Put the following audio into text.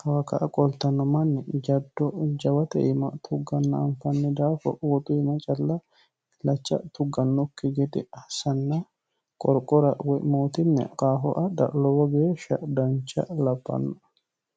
kawaka a qoltanno manni jaddo jawate ma tugganna anfanni daafo woxu ima calla ilacha tuggannokki gede asanna qorqora wmootinni qafoa dlowo geeshsha dancha laphanno